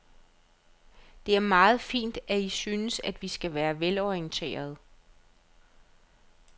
Det er meget fint, at I synes, vi skal være velorienterede.